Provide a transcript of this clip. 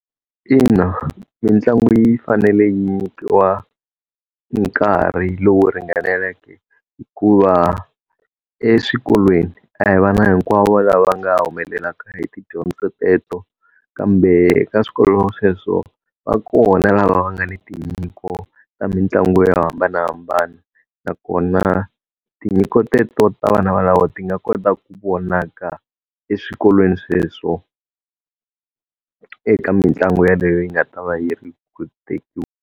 Ina, mitlangu yi fanele yi nyikiwa nkarhi lowu ringaneleke hikuva eswikolweni a hi vana hinkwavo lava nga humelelaka hi tidyondzo teto, kambe ka swikolo sweswo va kona lava va nga ni tinyiko ta mitlangu yo hambanahambana. Nakona tinyiko teto ta vana valavo ti nga kota ku vonaka eswikolweni sweswo, eka mitlangu yeleyo yi nga ta va yi ri .